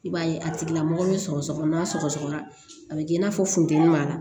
I b'a ye a tigilamɔgɔ be sɔgɔsɔgɔ n'a sɔgɔsɔgɔra a bɛ kɛ i n'a fɔ funteni b'a la